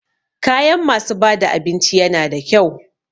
Kayan masu bada abinci yana da kyau.